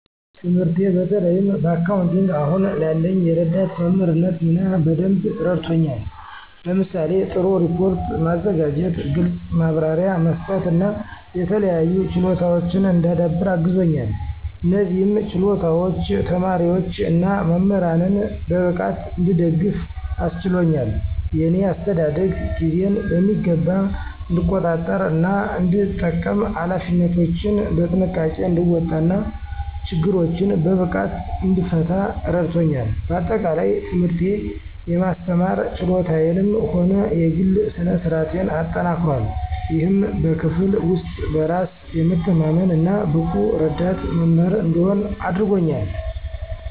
ትምህርቴ በተለይም በአካውንቲንግ አሁን ላለኝ የረዳት መምህርነት ሚና በደንብ አረድቶኛል። ለምሳሌ:- ጥሩ ሪፖርት ማዘጋጀት፣ ግልጽ ማብራሪያ መስጠት እና የተለያዩ ችሎታወችን እንዳዳብር አግዞኛል። እነዚህም ችሎታዎች ተማሪዎች እና መምህራንን በብቃት እንድደግፍ አስችሎኛል። የእኔ አስተዳደግ ጊዜን በሚገባ እንድቆጣጠር እና እንድጠቀም፣ ኃላፊነቶችን በጥንቃቄ እንድወጣ እና ችግሮችን በብቃት እንድፈታ እረዳቶኛል። በአጠቃላይ፣ ትምህርቴ የማስተማር ችሎታዬንም ሆነ የግሌ ስነ-ስርአቴን አጠናክሯል፣ ይህም በክፍል ውስጥ በራስ የመተማመን እና ብቁ ረዳት መምህር እንድሆን አድርጎኛል።